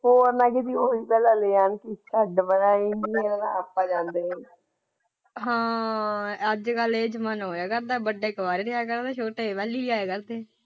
ਹੋਰ ਮੈਂ ਕਿ ਕਹਿਣਾ ਹੋਰ।